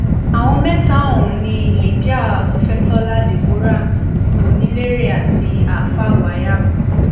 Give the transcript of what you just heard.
àwọn mẹta ọhún ni lydia ofetola deborah onílérè àti alfa wayab